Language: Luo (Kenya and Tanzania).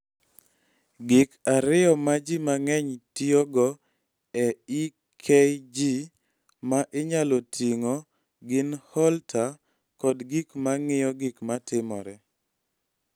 Gik ariyo ma ji mang�eny tiyogo e EKG ma inyalo ting�o gin Holter kod gik ma ng�iyo gik matimore.